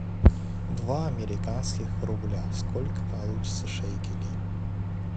два американских рубля сколько получится шекелей